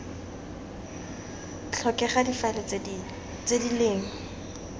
tlhokega difaele tse di leng